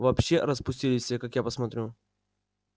вообще распустились все как я посмотрю